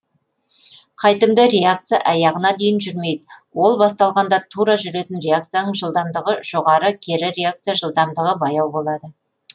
қайтымды реакция аяғына дейін жүрмейді ол басталғанда тура жүретін реакцияның жылдамдығы жоғары кері реакция жылдамдығы баяу болады